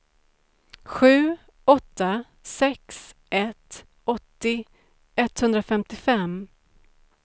sju åtta sex ett åttio etthundrafemtiofem